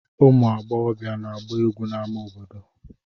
Ụmụ agbọghọbịa na-agba egwu n'amá obodo.